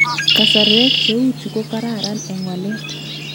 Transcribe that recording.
Kasarwek cheuchu ko kararan eng waleet